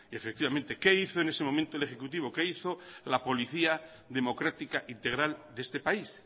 efectivamente qué hizo en ese momento el ejecutivo qué hizo la policía democrática integral de este país